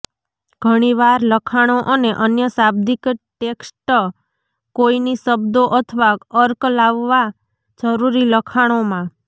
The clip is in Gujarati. ઘણીવાર લખાણો અને અન્ય શાબ્દિક ટેક્સ્ટ કોઈની શબ્દો અથવા અર્ક લાવવા જરૂરી લખાણોમાં